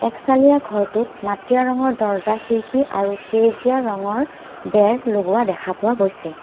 এক চালিয়া ঘৰটোত মাটিয়া ৰঙৰ দৰ্জা খিৰিকী আৰু সেউজীয়া ৰঙৰ বেৰ লগোৱা দেখা পোৱা গৈছে।